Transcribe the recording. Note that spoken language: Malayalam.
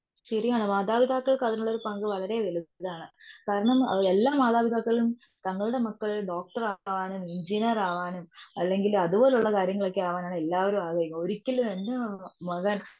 ശരിയാണ് മാതാപിതാക്കൾക്കത്തിനുള്ള പങ്ക് വളരെ വലുതാണ്. കാരണം എല്ലാ മാതാപിതാക്കളും തങ്ങളുടെ മക്കൾ ഡോക്ടർ ആവണം എൻജിനീയർ ആവാനും അല്ലങ്കിൽ അതുപോലുള്ള കാര്യങ്ങളൊക്കെ ആവനുമാണ് എല്ലാവരും ആഗ്രഹിക്കുന്നത്. ഒരിക്കലും എന്റെ മക മകൻ